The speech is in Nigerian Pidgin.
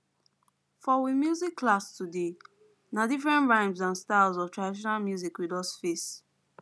for we music class today na different rhymes and styles of traditional music we just face